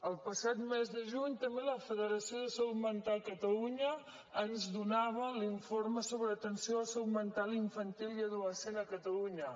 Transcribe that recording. el passat mes de juny també la federació de salut mental catalunya ens donava l’informe sobre atenció de salut mental infantil i adolescent a catalunya